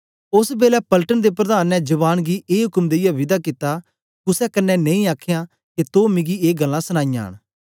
ओस बेलै पलटन दे प्रधान ने जवान गी ए उक्म देईयै विदा कित्ता कुसे कन्ने नेई आखयां के तो मिकी ए गल्लां सनाईयां न